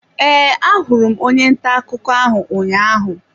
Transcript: E, ahụrụ onye ntà akụkọ ahụ ụnyaahụ.